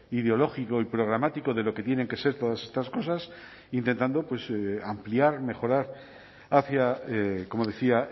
ideológico y programático de lo que tienen que ser todas estas cosas intentando ampliar mejorar hacia como decía